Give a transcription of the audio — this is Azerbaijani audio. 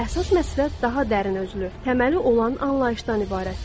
Əsas məsələ daha dərin özlü, təməli olan anlayışdan ibarətdir.